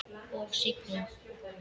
Og sigla?